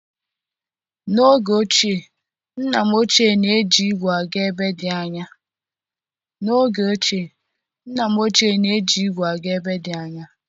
N'oge ochie, nna m ochie na-eji ígwè aga ebe dị anya.